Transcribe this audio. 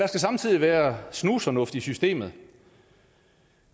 skal samtidig være snusfornuft i systemet